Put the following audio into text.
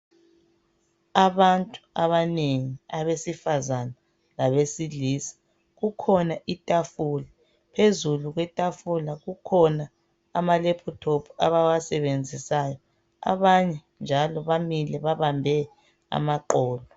Abantu abanengi abesifazana labesilisa. Kukhona itafula, phezulu kwetafula kukhona amalephuthophu abawasebenzisayo, abanye njalo bamile babambe amaqolo.